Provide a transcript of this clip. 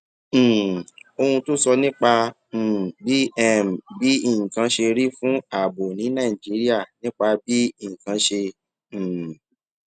um ohun tó sọ nípa um bí um bí nǹkan ṣe rí fún ààbò ní nàìjíríà nípa bí nǹkan ṣe um